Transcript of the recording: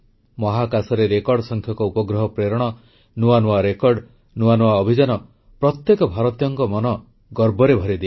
ମହାକାଶରେ ରେକର୍ଡ଼ ସଂଖ୍ୟକ ଉପଗ୍ରହ ପ୍ରେରଣ ନୂଆ ନୂଆ ରେକର୍ଡ଼ ନୂଆ ନୂଆ ଅଭିଯାନ ପ୍ରତ୍ୟେକ ଭାରତୀୟଙ୍କ ମନ ଗର୍ବରେ ଭରିଦିଏ